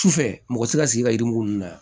Sufɛ mɔgɔ tɛ se ka sigi ka yirimugu ninnu na